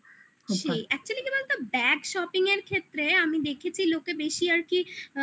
সেই actually কি বলতো bag shopping এর ক্ষেত্রে আমি দেখেছি লোকে বেশি আর কি